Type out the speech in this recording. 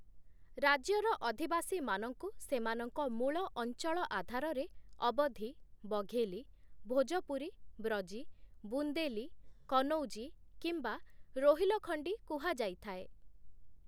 ରାଜ୍ୟର ଅଧିବାସୀମାନଙ୍କୁ ସେମାନଙ୍କ ମୂଳ ଅଞ୍ଚଳ ଆଧାରରେ ଅବଧୀ, ବଘେଲୀ, ଭୋଜପୁରୀ, ବ୍ରଜୀ, ବୁନ୍ଦେଲୀ, କନୌଜୀ କିମ୍ବା ରୋହିଲଖଣ୍ଡୀ କୁହାଯାଇଥାଏ ।